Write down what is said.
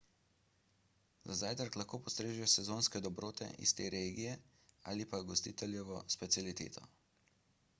za zajtrk lahko postrežejo sezonske dobrote iz te regije ali pa gostiteljevo specialiteto